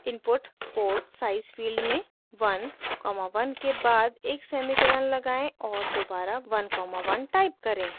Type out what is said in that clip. input port size field में 1 comma 1 के बाद एक सेमीकोलन लगाएं और दोबारा 1 कॉमा 1 टाइप करें